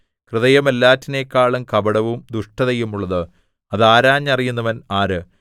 ഹൃദയം എല്ലാറ്റിനെക്കാളും കപടവും ദുഷ്ടതയുമുള്ളത് അത് ആരാഞ്ഞറിയുന്നവൻ ആര്